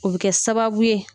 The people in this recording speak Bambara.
O bɛ kɛ sababu ye